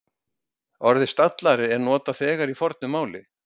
Orðið stallari er notað þegar í fornu máli.